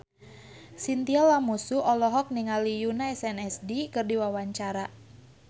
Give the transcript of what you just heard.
Chintya Lamusu olohok ningali Yoona SNSD keur diwawancara